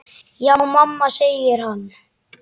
Já mamma, segir hann.